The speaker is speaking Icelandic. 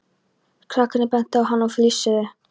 Krakkarnir bentu á hann og flissuðu.